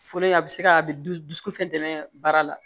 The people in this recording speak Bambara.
Foli a bɛ se ka a bɛ dusukun fɛn dɛmɛn baara la